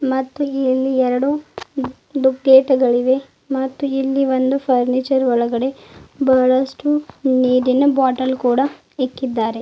ಇಲ್ಲಿ ಎರಡು ದುಖೇತಗಳಿವೆ ಮತ್ತು ಇಲ್ಲಿ ಒಂದು ಫರ್ನಿಚರ್ ಒಳಗಡೆ ಬಹಳಷ್ಟು ನೀರಿನ ಬಾಟಲ್ ಕೂಡ ಇಕ್ಕಿದ್ದಾರೆ.